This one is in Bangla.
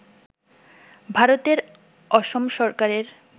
ভারতের অসম সরকারের